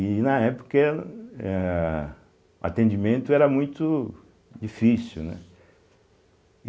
E na época, é, ah atendimento era muito difícil, né.